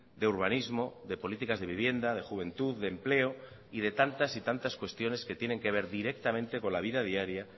de urbanismo de políticas de vivienda de juventud de empleo y de tantas y tantas cuestiones que tienen que ver directamente con la vida diaria